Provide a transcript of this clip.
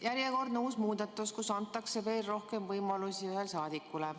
Järjekordne uus muudatus, millega antakse veel rohkem võimalusi ühel saadikule.